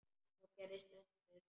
Þá gerðist undrið.